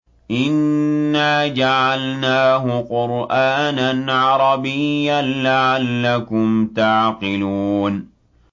إِنَّا جَعَلْنَاهُ قُرْآنًا عَرَبِيًّا لَّعَلَّكُمْ تَعْقِلُونَ